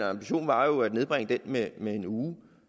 og ambitionen var jo at nedbringe den med en uge